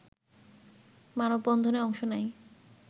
মানববন্ধনে অংশ নেয়